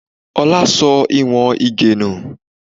Ọlá sọ ìwọ̀n Ige nù